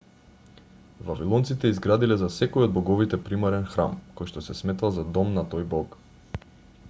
вавилонците изградиле за секој од боговите примарен храм којшто се сметал за дом на тој бог